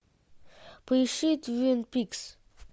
поищи твин пикс